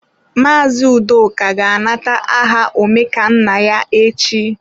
Mazị Udoka ga-anata aha Omekannaya echi.